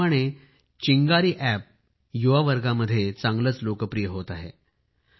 याचप्रमाणे चिंगारी अॅपही युवा वर्गामध्ये चांगलेच लोकप्रिय होत आहे